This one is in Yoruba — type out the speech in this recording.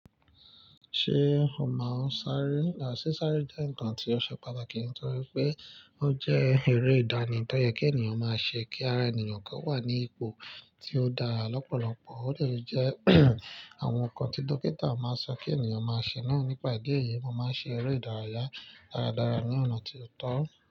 Ṣé o maa n sáré? À sí sáré jẹ́ nǹkan tí ó ṣe pàtàkì nítorí pé ó jẹ́ eré ìdánì tó yẹ kí ènìyàn máa ṣe kí ara ènìyàn ko wà ní ipò tí ó dára lọ́pọ̀lọpọ̀. Ó dè jẹ́ àwọn nǹkan tí dókítà máa sọ kí ènìyàn máa ṣe náà. Nípa ìdí èyí, mo máa ń ṣe eré ìdárayá dáradára ní ọ̀nà tí ó tọ́.